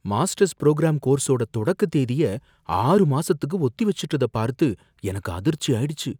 Masters programme கோர்ஸோட தொடக்க தேதிய ஆறு மாசத்துக்கு ஒத்தி வைச்சுட்டதப் பார்த்து எனக்கு அதிர்ச்சியாயிடுச்சு.